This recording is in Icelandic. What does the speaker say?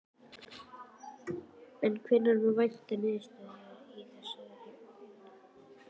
En hvenær má vænta niðurstaðna í þeirri vinnu?